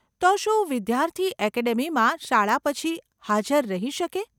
તો શું વિદ્યાર્થી એકેડમીમાં શાળા પછી હાજર રહી શકે?